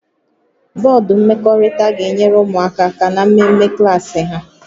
Bọdụ mmekọrịta ga-enyere ụmụaka aka na mmemme klaasị ha